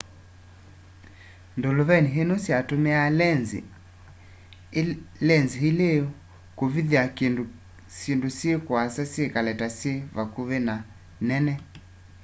ndũlũvenĩ ino syatumiaa lenzi ili kuthikithya syindu syi kuasa syikale ta syi vakuvi na nene